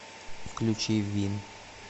включи вин